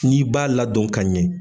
N'i b'a ladon ka ɲɛ.